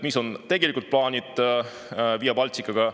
Mis on tegelikult paanis Via Balticaga?